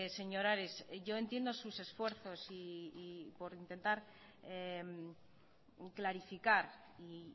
señor ares yo entiendo sus esfuerzos por intentar clarificar y